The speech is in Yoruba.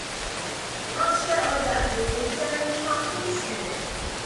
ránṣẹ́ ọjà gbèsè jẹ́ nínú àpò osùwọ̀n.